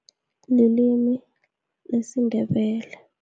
Nelimi lesiNdebele.